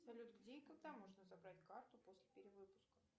салют где и когда можно забрать карту после перевыпуска